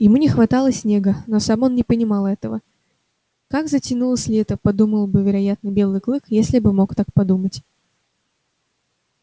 ему не хватало снега но сам он не понимал этого как затянулось лето подумал бы вероятно белый клык если бы мог так подумать